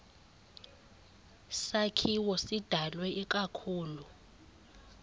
sakhiwo sidalwe ikakhulu